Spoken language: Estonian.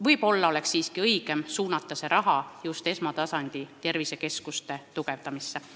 Võib-olla oleks siiski õigem kasutada seda raha just esmatasandi tervisekeskuste tugevdamiseks.